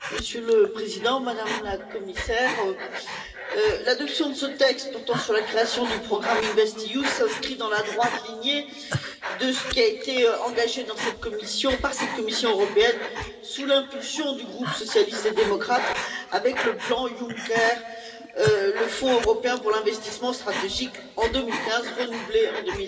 Monsieur le Président, Madame la Commissaire, l'adoption de ce texte portant sur la création du programme InvestEU s'inscrit dans la droite lignée de ce qui a été engagé par cette Commission européenne, sous l'impulsion du groupe socialiste et démocrate, avec le plan Juncker, à savoir le Fonds européen pour l'investissement stratégique en 2015, renouvelé en